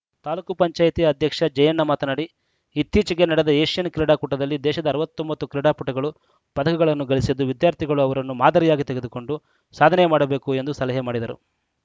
ತಾಲೂಕ್ ಪಂಚಾಯತ್ ಅಧ್ಯಕ್ಷ ಜಯಣ್ಣ ಮಾತನಾಡಿ ಇತ್ತೀಚೆಗೆ ನಡೆದ ಏಷ್ಯನ್‌ ಕ್ರೀಡಾಕೂಟದಲ್ಲಿ ದೇಶದ ಅರವತ್ತ್ ಒಂಬತ್ತು ಕ್ರೀಡಾಪಟುಗಳು ಪದಕಗಳನ್ನು ಗಳಿಸಿದ್ದು ವಿದ್ಯಾರ್ಥಿಗಳು ಅವರನ್ನು ಮಾದರಿಯಾಗಿ ತೆಗೆದುಕೊಂಡು ಸಾಧನೆ ಮಾಡಬೇಕು ಎಂದು ಸಲಹೆ ಮಾಡಿದರು